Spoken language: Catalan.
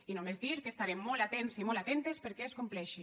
i només dir que estarem molt atents i molt atentes perquè es compleixi